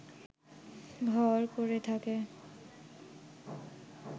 ঘর করে থাকে